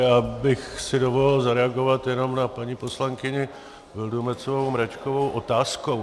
Já bych si dovolil zareagovat jenom na paní poslankyni Vildumetzovou Mračkovou otázkou.